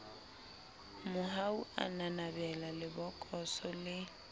mohau a nanabela lebokoso le